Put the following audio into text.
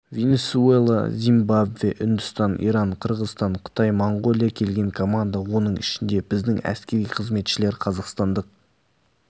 венесуэла зимбабве үндістан иран қырғызстан қытай моңғолия келген команда оның ішінде біздің әскери қызметшілер қазақстандық